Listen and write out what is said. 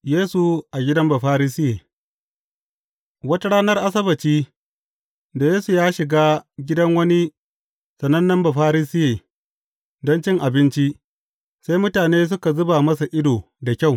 Yesu a gidan Bafarisiye Wata ranar Asabbaci, da Yesu ya shiga gidan wani sanannen Bafarisiye don cin abinci, sai mutane suka zuba masa ido da kyau.